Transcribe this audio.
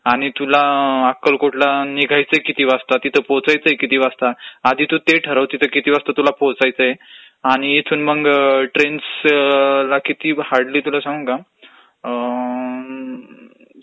आणि तुला अकेकलकोटला निघायचय किती वाजता तिथं पोचायचय किती वाजता, आधी तू ते ठरवं किती वाजता तुला पोचायचय आणि इथून मंग ट्रेनस् ला किती ...हार्डली तुला सांगू का अम्म्म्म.....